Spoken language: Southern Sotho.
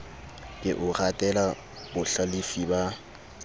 ke o ratela bohlalefi ba